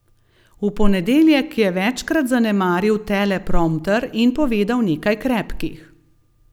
V ponedeljek je večkrat zanemaril teleprompter in povedal nekaj krepkih.